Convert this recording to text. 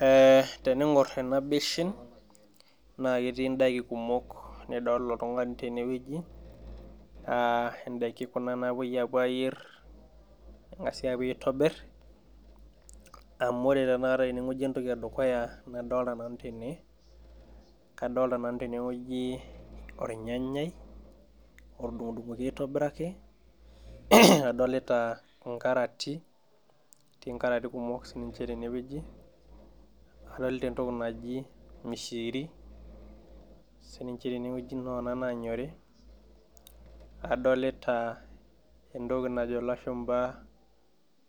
Eh tening'orr ena beshen naa ketii indaiki kumok nidol oltung'ani tenewueji uh indaiki kuna napuoi apuo ayierr eng'asi apuo aitobirr amu ore tenakata teneng'ueji entoki edukuya nadolta nanu tene kadolta nanu tewoji ornyanyai otudung'udung'oki aitobiraki adolita inkarati etii inkarati kumok sininche tenewueji adolta entoki naji mishiiri sininche tenewueji noona nanyori adolita entoki najo ilashumpa